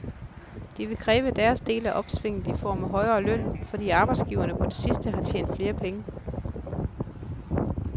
De vil kræve deres del af opsvinget i form af højere løn, fordi arbejdsgiverne på det sidste har tjent flere penge.